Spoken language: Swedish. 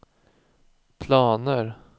planer